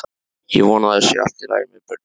Ég vona að það sé allt í lagi með börnin.